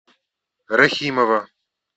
рахимова